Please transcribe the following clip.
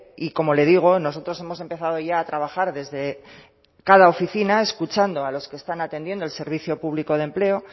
y como le digo nosotros hemos empezado ya a trabajar desde cada oficina escuchando a los que están atendiendo el servicio público de empleo